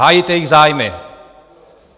Hájit jejich zájmy!